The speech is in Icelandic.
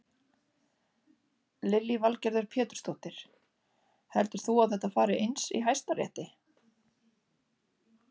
Lillý Valgerður Pétursdóttir: Heldur þú að þetta fari eins í Hæstarétti?